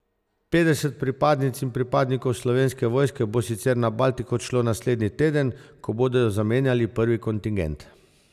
Petdeset pripadnic in pripadnikov Slovenske vojske bo sicer na Baltik odšlo naslednji teden, ko bodo zamenjali prvi kontingent.